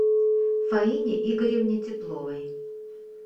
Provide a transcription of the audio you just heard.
фаине игоревне тепловой